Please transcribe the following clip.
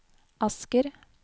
Asker